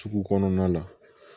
Sugu kɔnɔna la